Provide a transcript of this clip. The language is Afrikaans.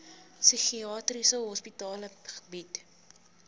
psigiatriese hospitale bied